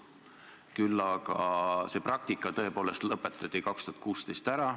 Küll aga see praktika tõepoolest lõpetati 2016 ära.